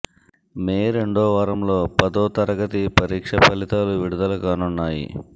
మే రెండో వారంలో పదో తరగతి పరీక్ష ఫలితాలు విడుదల కానున్నాయి